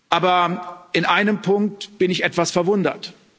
Aber in einem Punkt bin ich etwas verwundert.